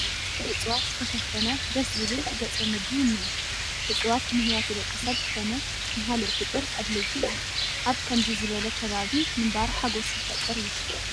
ብእፅዋት ዝተሸፈነ ደስ ዝብል ገፀ ምድሪ እኒአ፡፡ እፅዋት ንህይወት ደቂ ሰብ ኮነ ንካልእ ፍጡር ኣድለይቲ እዮም፡፡ ኣብ ከምዚ ዝበለ ከባቢ ምንባር ሓጐስ ዝፈጥር እዩ፡፡